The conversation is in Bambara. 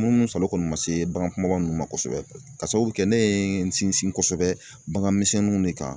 munumunsalon kɔni ma se bagan kumaba ninnu ma kosɛbɛ ka sababu kɛ ne ye n sinsin kosɛbɛ bagan misɛninw ne kan